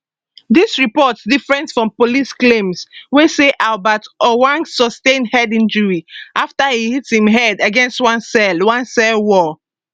dis report different from police claims wey say albert ojwang sustain head injuries afta e hit im head against one cell one cell wall